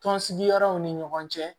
Tɔnsigi yɔrɔw ni ɲɔgɔn cɛ